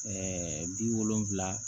bi wolonwula